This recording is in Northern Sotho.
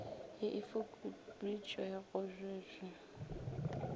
ye e fokoditšwego bj bj